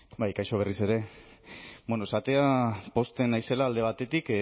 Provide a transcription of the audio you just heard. bai kaixo berriz ere esatea pozten naizela alde batetik